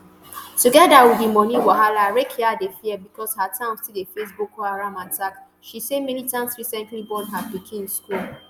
togeda wit di moni wahala rakiya dey fear becos her town still dey face boko haram attacks she say militants recently burn her pikin school